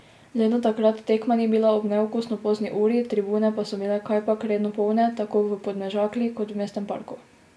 Le da takrat tekma ni bila ob neokusno pozni uri, tribune pa so bile kajpak redno polne tako v Podmežakli kot v Mestnem parku.